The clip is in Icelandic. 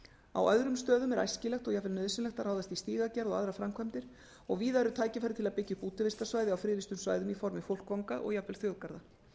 á öðrum stöðum er æskilegt og jafnvel nauðsynlegt að ráðast í stígagerð og aðrar framkvæmdir og víða eru tækifæri til að byggja upp útivistarsvæði á friðlýstum svæðum í formi fólkvanga og jafnvel þjóðgarða